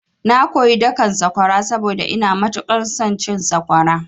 Na koyi dakan sakwara saboda ina matuƙar son cin sakwara.